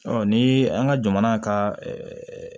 Ɔ ni an ka jamana ka